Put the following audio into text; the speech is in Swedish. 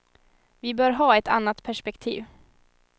Vi bör ha ett annat perspektiv.